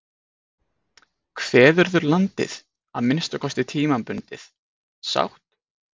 Kveðurðu landið, að minnsta kosti tímabundið, sátt?